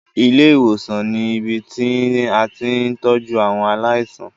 Ilé ìwòsàn ni ibi tí a ti ń tọ́jú àwọn aláìsàn.